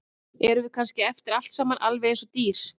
Erum við kannski eftir allt saman alveg eins og dýr?